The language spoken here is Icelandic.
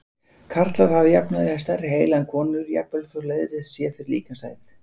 Karlar hafa að jafnaði stærri heila en konur, jafnvel þótt leiðrétt sé fyrir líkamshæð.